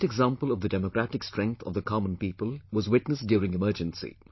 A great example of the democratic strength of the common people was witnessed during Emergency